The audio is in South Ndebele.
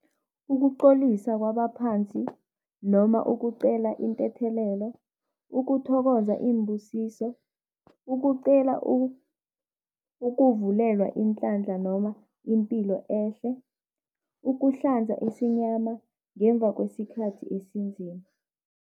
Ukucolisa kwabaphansi noma ukucela inthethelelo, ukuthokoza iimbusiso, ukucela ukuvulelwa inhlanhla noma impilo ehle, ukuhlanza isinyama ngemva kwesikhathi esinzima.